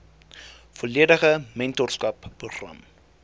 volledige mentorskap program